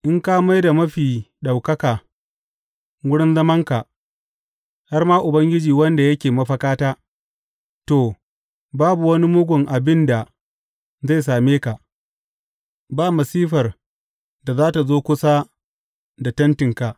In ka mai da Mafi Ɗaukaka wurin zamanka, har ma Ubangiji wanda yake mafakata, to, babu wani mugun abin da zai same ka, ba masifar da za tă zo kusa da tentinka.